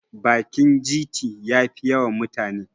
bakin gt ya Fi yawan mutane